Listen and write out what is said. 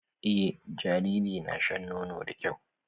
Eh jariri na na shan nono da kyau.